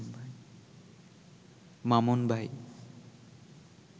মামুন ভাই